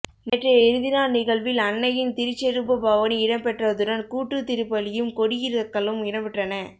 நேற்றைய இறுதி நாள் நிகழ்வில் அன்னையின் திருச்செரூப பவனி இடம்பெற்றதுடன் கூட்டுத்திருப்பலியும் கொடியிறக்கலும் இடம்பெற்றன